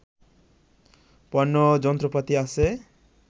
পণ্য ও যন্ত্রপাতি আছে